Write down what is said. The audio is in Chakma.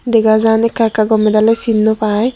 dega jan ekaka gomey daley sin no pai.